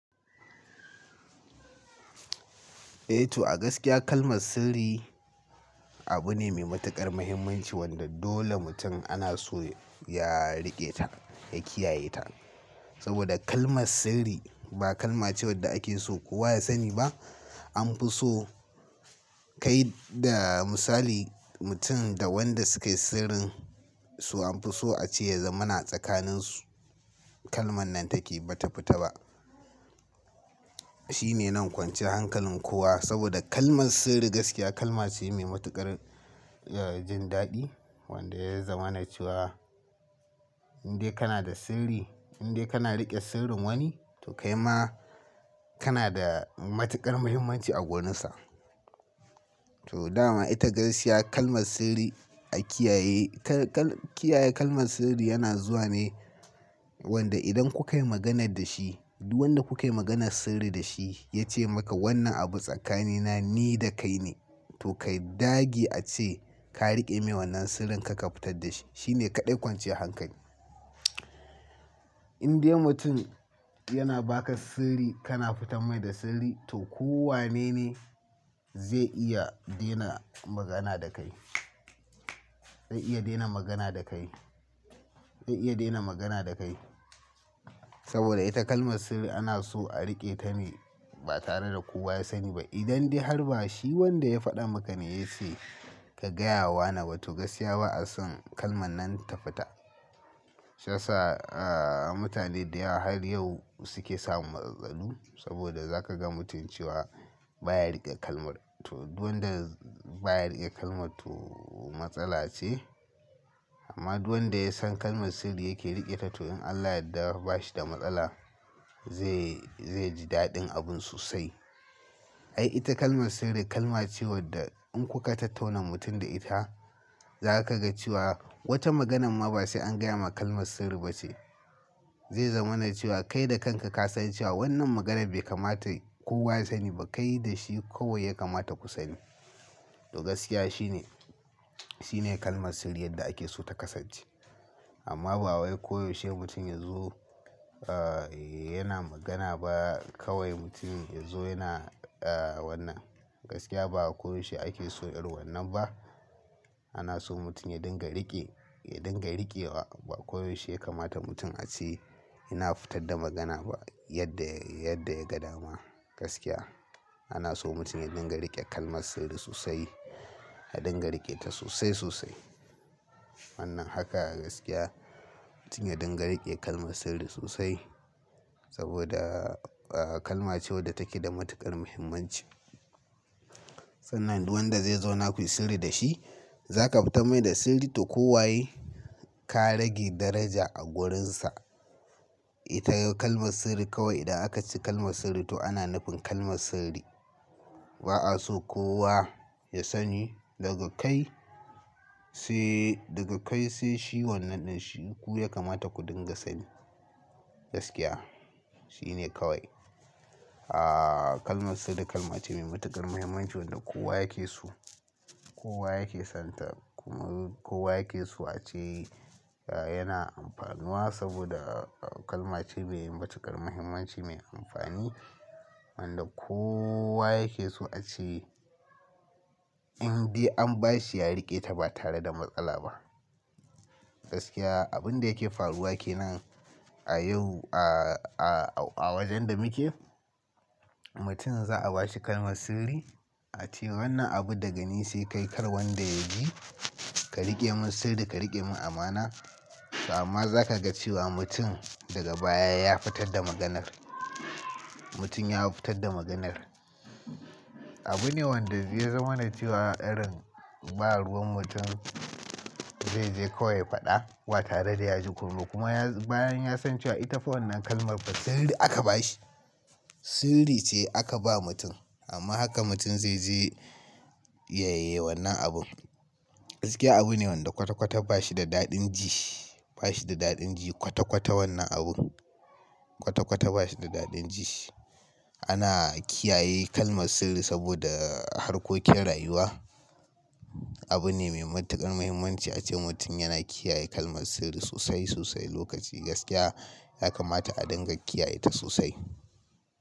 Eh to a gaskiya kalmar sirri abu ne mai matuƙar muhimmanci wanda dole mutum ana so ya riƙe ta, ya kiyaye ta. Saboda kalmar sirri ba kalmace wadda ake so kowa ya sani ba. An fi so kai da misali mutum da wanda suke sirrin su an fi so a ce ya zama na tsakaninsu. Kalman nan take ba ta fita ba. Shi ne na kwance hankalin kowa saboda kalmar sirri gaskiya kalma ce mai matuƙar, eh, jin daɗi wanda ya zama na cewa in dai kana da sirri, in dai kana riƙe sirrin wani to kai ma kana da matuƙar muhimmanci a gonarsa. To dama ita gaskiya kalmar sirri a kiyaye. Kal-kal kiyaye kalmar sirri yana zuwa ne wanda idan kuka yi maganar da shi, duk wanda kuka yi maganar sirri da shi ya ce maka wannan abu tsakanina ni da kai ne to kai dage a ce ka riƙe min wannan sirrin karka fitar da shi. Shi ne kaɗai kwance hankali. In dai mutum yana baka sirri kana fitar mai da sirri to kowa ne ne zai iya daina magana da kai. Zai iya daina magana da kai. Zai iya daina magana da kai. Saboda ita kalmar sirri ana so a riƙe ta ne ba tare da kowa ya sani ba. Idan dai har ba shi wanda ya faɗa maka ne ya ce ka gaya wa na ba to gaskiya ba a son kalman nan ta fita. Shai yasa, ah, mutane da yawa har yau suke samun matsaltsalu saboda za ka ga mutum cewa baya riƙe kalmar. To duk wanda baya riƙe kalmar to matsala ce. Amma duk wanda ya san kalmar sirri yake riƙe ta to in Allah ya yarda ba shi da matsala zai, zai ji daɗin abun sosai. Ai ita kalmar sirri kalma ce wadda in kuka tattauna mutum da ita, za ka ga cewa wata maganar ma ba sai an gaya maka kalmar sirri ba ce. Zai zama na cewa kai da kanka ka san cewa wannan maganar bai kamata kowa ya sani ba. Kai da shi kawai ya kamata ku sani. To gaskiya shi ne, shi ne kalmar sirrin yadda ake so ta kasance. Amma ba wai koyaushe mutum yazo, ah, yana magana ba kawai mutum yazo yana, ah, wannan. Gaskiya ba a koyaushe ake so irin wannan ba. Ana so mutum ya dinga riƙe, ya dinga riƙewa. Ba koyaushe ya kamata mutum a ce yana fitar da magana ba yadda, yadda ya ga dama. Gaskiya ana so mutum ya dinga riƙe kalmar sirri sosai. Ya dinga riƙe ta sosai, sosai. Wannan haka a gaskiya mutum ya dinga riƙe kalmar sirri sosai saboda, ah, kalma ce wadda take da matuƙar muhimmanci. Sannan duk wanda zai zo naku yi sirri da shi za ka fita mai da sirri toh kowaye ka rage daraja a wurinsa. Ita kalmar sirri kawai idan aka ci kalmar sirri to ana nufin kalmar sirri. Ba a so kowa ya sani daga kai sai, daga kai sai shi wannan ɗin shi ku ya kamata ku dinga sani. Gaskiya shi ne kawai. Ah, kalmar sirri kalma ce mai matuƙar muhimmanci wanda kowa yake so. Kowa yake sonta. Kowa yake so ace yana amfanuwa saboda kalma ce me matuƙar muhimmanci me amfani, wanda kowa yake so ce indai an bashi ya riƙeta ba tare a matsala ba. Gaskiya abin da yake faruwa ke nan a yau a, a, a wajen da muke mutum za a ba shi kalmar sirri a ce wannan abu daga ni sai kai kar wanda ya ji. Ka riƙe min sirri ka riƙe min amana toh amma za ka ga cewa mutum daga baya ya fitar da maganar. Mutum ya fitar da maganar. Abu ne wanda zai zama na cewa irin ba ruwan mutum zai je kawai ya faɗa wa tare da ya ji kunnu. Kuma ya, bayan ya san cewa ita fa wannan kalmar sirri aka ba shi. Sirri ce aka ba mutum amma haka mutum zai je ya yaye wannan abun. Gaskiya abu ne wanda kwata-kwata ba shi da daɗin ji. Ba shi da daɗin ji kwata-kwata wannan abu. Kwata-kwata ba shi da daɗin ji. Ana kiyaye kalmar sirri saboda harkokin rayuwa. Abu ne mai matuƙar muhimmanci a ce mutum yana kiyaye kalmar sirri sosai, sosai lokaci. Gaskiya ya kamata a dinga kiyaye ta sosai.